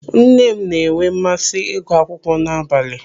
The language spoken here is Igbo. Nne m n'enwe mmasị ịgụ akwụkwọ n'abalị.